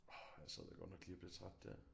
Orh her sad jeg godt nok lige og blev træt der